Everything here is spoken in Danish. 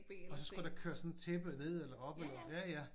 Og så skulle der køre sådan et tæppe ned eller op eller? Ja ja